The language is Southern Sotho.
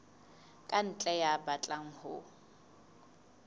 ka ntle ya batlang ho